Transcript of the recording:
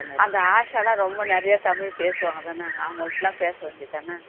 அந்த ஆஷாலாம் ரொம்ப தமிழ் நிறைய பேசுவாங்க தானே அவங்ககிட்டலாம் பேச வேண்டி தானே